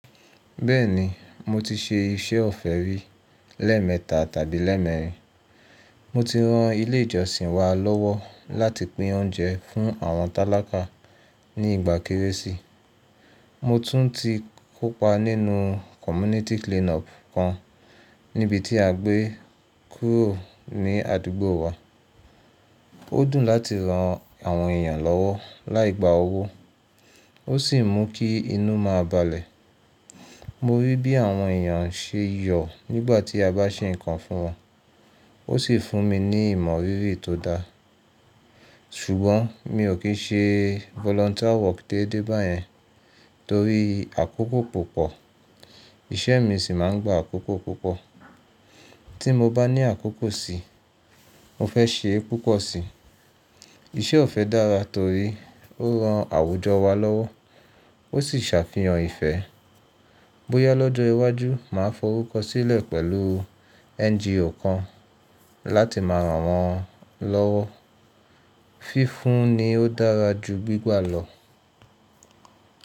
Bẹ́ẹ̀ni mo ti ṣe iṣẹ́ ọ̀fẹ́ rí lẹ́ẹ̀mẹta tàbí lẹ́ẹ̀mẹrin. Mo ti ran ilé ìjọsìn wa lọ́wọ́ láti pín oúnjẹ fún àwọn tálákà ní ìgbà kérésì. Mo tún ti kópa nínú community cleanup kan níbi tí à ń gbé kúrò ní àdúgbò wa. Ó dùn láti ran àwọn èèyàn lọ́wọ́ láì gba owó, ó sì mú kí inú máa balẹ̀. Mo rí bí àwọn èèyàn ṣe yọ̀ nígbà tí a bá ṣe nǹkan fún wọn, ó sì fún mi ní ìmọ̀ rírì tó da. Ṣùgbọ́n mi ò kì í ṣe volunteer work dédé báyẹn torí àkókò púpọ̀, iṣẹ́ mi sì máa ń gba àkókò púpọ̀. Tí mo bá ní àkókò si, mo fẹ́ ṣe é púpọ̀ si. Iṣẹ́ ọ̀fẹ́ dára torí ó ran àwùjọ wa lọ́wọ́, ó sì ṣàfihàn ìfẹ́. Bóyá lọ́jọ́ iwájú máa fọrúkọ sílẹ̀ pẹ̀lú NGO kan láti máa ràn wọ́n lọ́wọ́. Fífún ni ó dára ju gbígbà lọ.